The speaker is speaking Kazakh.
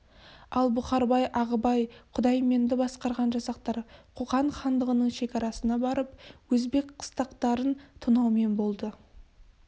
ал бұқарбай ағыбай құдайменді басқарған жасақтар қоқан хандығының шекарасына барып өзбек қыстақтарын тонаумен болды